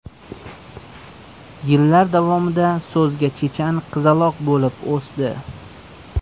Yillar davomida so‘zga chechan qizaloq bo‘lib o‘sdi.